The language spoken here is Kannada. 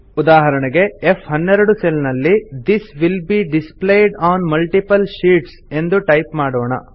ಉದಾಹರಣೆಗೆ ಫ್12 ಸೆಲ್ ನಲ್ಲಿ this will be displayed on multiple sheets ಎಂದು ಟೈಪ್ ಮಾಡೋಣ